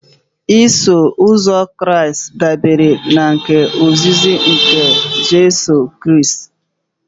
Iso uzọ Kraịst dabere na ozizi nke Jizọs Kraịst